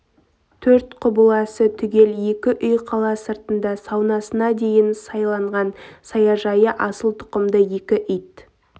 төрт құбыласы түгел екі үй қала сыртында саунасына дейін сайланған саяжайы асыл тұқымды екі ит